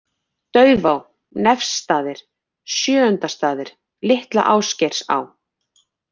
Daufá, Nefsstaðir, Sjöundastaðir, Litla Ásgeirsá